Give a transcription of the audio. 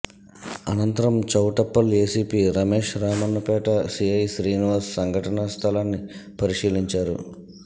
అనంతరం Choutuppal ACP Ramesh Ramannapet CI Srinivas సంఘటన స్థలాన్ని పరిశీలించా రు